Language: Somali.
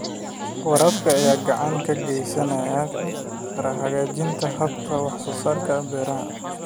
Waraabka ayaa gacan ka geysan kara hagaajinta habka wax soo saarka beeraha.